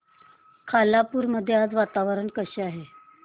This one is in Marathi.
खालापूर मध्ये आज वातावरण कसे आहे